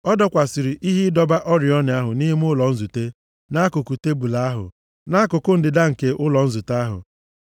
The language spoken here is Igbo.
Ọ dọkwasịrị ihe ịdọba oriọna ahụ nʼime ụlọ nzute nʼakụkụ tebul ahụ, nʼakụkụ ndịda nke ụlọ nzute ahụ.